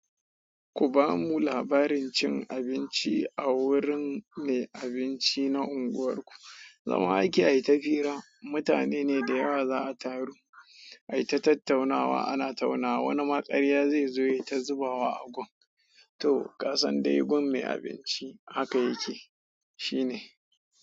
Ku ba mu labarin cin abinci a wurin mai abinci na unguwarku. Zama ake ayi ta fira mutane neh da yawa zaa taru ai ta tattaunawa ana tauna wa wani maƙarya zai zo ya ta zubawa a gun. To kasan dai gun mai abinci haka yake. Shi ne.